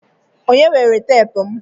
Onye weere teepu m.